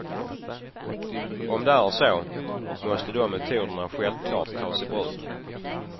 Om det är så, måste de metoderna självklart tas i bruk.